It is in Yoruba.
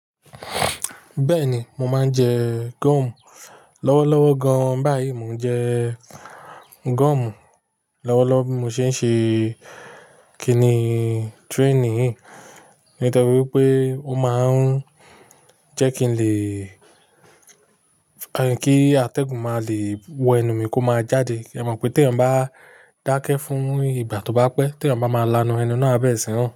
Bẹ́ẹ̀ni, mo máa ń jẹ gọ́ọ̀mù, lọ́wọ́lọ́wọ́ gan. Báyìí mò ń jẹ gọ́ọ̀mù lọ́wọ́lọ́wọ́ bí mo ṣe ń ṣe kiní training yìí. Nítorí pé ó máa ń jẹ́ kí n lè, kí atẹ́gùn máa le wọ ẹnu mi kó máa jáde. Ẹ mọ̀ pé tí èèyàn bá dákẹ́ fún ìgbà tó bá pẹ́, tí èèyàn bá máa laná ẹnu náà á bẹ̀rẹ̀ sí í rùn.